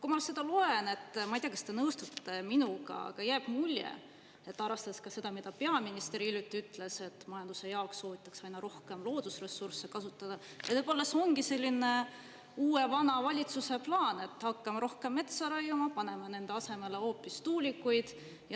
" Kui ma seda loen – ma ei tea, kas te nõustute minuga –, arvestades ka seda, mida peaminister hiljuti ütles, et majanduse jaoks soovitakse aina rohkem loodusressursse kasutada, jääb mulje, et võib-olla see ongi selline uue-vana valitsuse plaan: hakkame rohkem metsa raiuma, paneme selle asemele hoopis tuulikud.